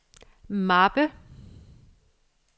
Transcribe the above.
mappe